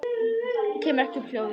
Kem ekki upp hljóði.